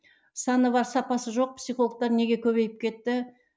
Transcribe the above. саны бар сапасы жоқ психологтар неге көбейіп кетті